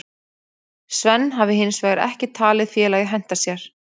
Sven hafi hinsvegar ekki talið félagið henta sér.